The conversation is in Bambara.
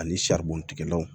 Ani bɔn tigɛlaw